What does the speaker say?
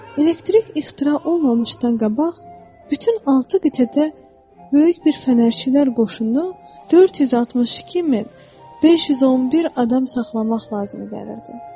Elektrik ixtira olmamışdan qabaq bütün altı qitədə böyük bir fənərçilər qoşunu 462 min 511 adam saxlamaq lazım gəlirdi.